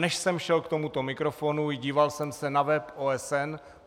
Než jsem šel k tomuto mikrofonu, díval jsem se na web OSN.